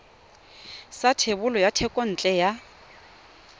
sa thebolo ya thekontle ya